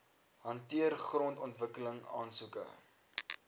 hanteer grondontwikkeling aansoeke